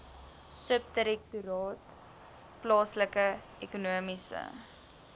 subdirektoraat plaaslike ekonomiese